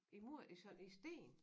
I mur i sådan i sten